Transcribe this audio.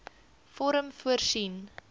vorm voorsien